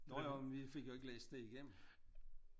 Jo jo men vi fik jo ikke læst det igennem